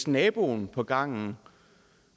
naboen på gangen